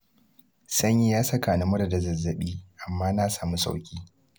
Sanyi ya saka ni mura da zazzaɓi, amma na samu sauƙi.